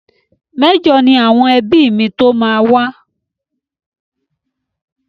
Mẹ́jọ ni àwọn ẹbí mi tó máa wá.